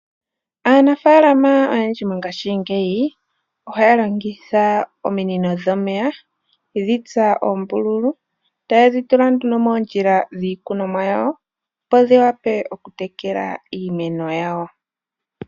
Aanafalama oyendji mongashingeyi ohaya longitha omino dhomeya yedhi tsa oombululu taye dhi tula nduno moondjila dhiikunomwa yawo opo dhi wape okutekela iimeno yawo.